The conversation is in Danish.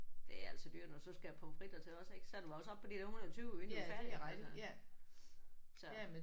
Det er altså dyrt når du så skal have pommes fritter til også ik så er du også oppe på de der 120 inden du er færdig altså så